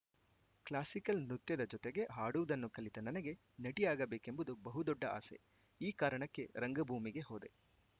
classical ನೃತ್ಯದ ಜತೆಗೆ ಹಾಡುವುದನ್ನೂ ಕಲಿತ ನನಗೆ ನಟಿಯಾಗಬೇಕೆಂಬುದು ಬಹು ದೊಡ್ಡ ಆಸೆ ಈ ಕಾರಣಕ್ಕೆ ರಂಗಭೂಮಿಗೆ ಹೋದೆ